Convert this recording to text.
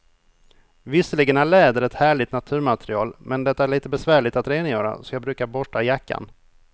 Visserligen är läder ett härligt naturmaterial, men det är lite besvärligt att rengöra, så jag brukar borsta jackan.